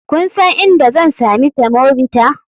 Kun san inda zan sami semovita?